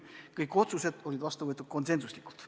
Kõik otsused võeti vastu konsensusega.